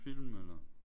Film eller?